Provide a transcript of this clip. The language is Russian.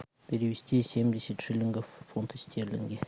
перевести семьдесят шиллингов в фунты стерлинги